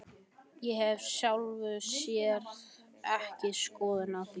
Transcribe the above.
Ég hef í sjálfu sér ekki skoðun á því.